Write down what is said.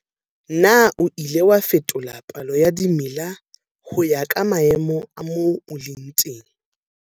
Na o ile wa fetola palo ya dimela ho ya ka maemo a moo o leng teng?